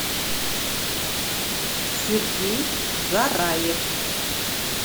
сергей зараев